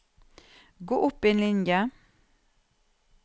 Gå opp en linje